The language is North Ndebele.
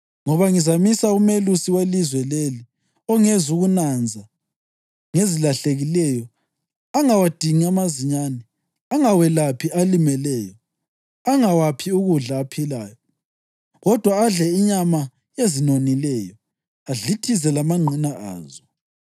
Ngoba ngizamisa umelusi welizwe leli ongezukunanza ngezilahlekileyo, angawadingi amazinyane, angawelaphi alimeleyo, angawaphi ukudla aphilayo, kodwa adle inyama yezinonileyo, adlithize lamangqina azo.